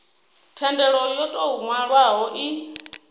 thendelo yo tou nwalwaho i